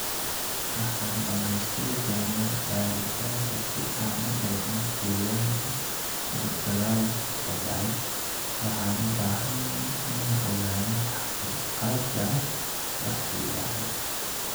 Waxaan dhameystiri doonaa baaritaanka si aan u eegno deegaanka uu dagaalku ka dhacay, waxaan u baahanahay inaan ogaano xaqiiqda wixii dhacay.